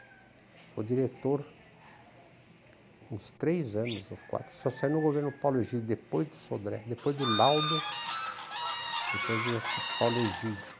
Foi diretor uns três anos ou quatro, só saiu no governo do Paulo Egídio, depois do Sodré, depois do Laudo, depois do acho que, Paulo Egídio.